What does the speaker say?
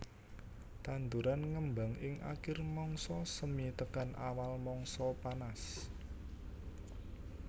Tanduran ngembang ing akir mangsa semi tekan awal mangsa panas